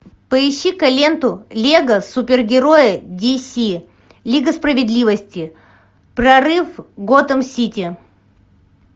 поищи ка ленту лего супергерои диси лига справедливости прорыв готэм сити